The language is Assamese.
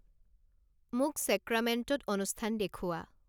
মোক চেক্ৰামেণ্টোত অনুষ্ঠান দেখুওৱা